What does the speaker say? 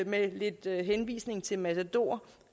med lidt henvisning til matador